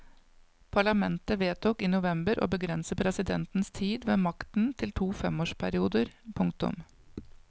Parlamentet vedtok i november å begrense presidentens tid ved makten til to femårsperioder. punktum